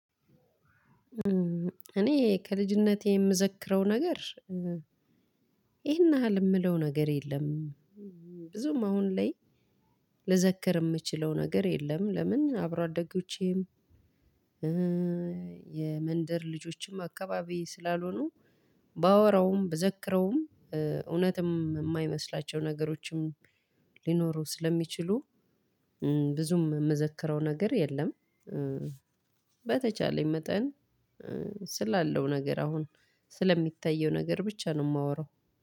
እኔ ከልጅነቴ የምዘክረው ነገር ይሄን ያህል የምለው ነገር የለም። ብዙም አሁን ላይ ልዘክር የምችለው ነገር የለም። ለምን አብረው አደጎቼም የመንደር ልጆችም አከባቢዬ ስላልሆኑ ባወራዉም ብዛክረዉም እውነት የማይመስላቸው ነገሮችም ልኖሩ ስለምችሉ ብዙም ምዘርክረው ነገር የለም። በተቻለኝ መጠን ስላለው ነገር አሁን ስለሚታየው ነገር ብቻ ነው የማወራው።